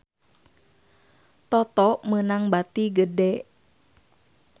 Toto meunang bati gede